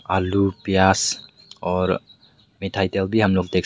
आलू प्यास और मिठाई तेल भी हम लोग देख सक--